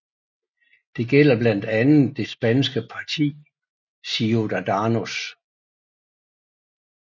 Det gælder blandt andet det spanske parti Ciudadanos